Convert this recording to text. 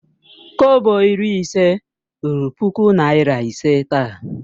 Kobo iri ise ruru puku naira ise taa.